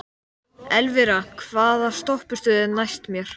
Elvira, hvaða stoppistöð er næst mér?